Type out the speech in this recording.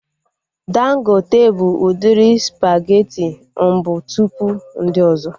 Dangote bụ udiri spageti mbụ tụpụ ndị ọzọ